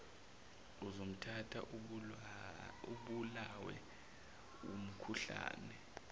uzomthatha ubulawe wumkhuhlane